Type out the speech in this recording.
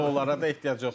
şoullara da ehtiyac yoxdur.